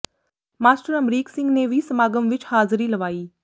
master Amrik Singh ਨੇ ਵੀ ਸਮਾਗਮ ਵਿੱਚ ਹਾਜ਼ਰੀ ਲਵਾਈ